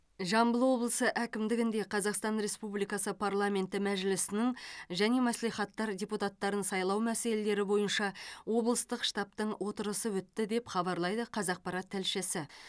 жамбыл облысы әкімдігінде қазақстан республикасы парламенті мәжілісінің және мәслихаттар депутаттарын сайлау мәселелері бойынша облыстық штабтың отырысы өтті деп хабарлайды қазақпарат тілшісі